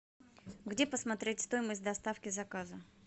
где посмотреть стоимость доставки заказа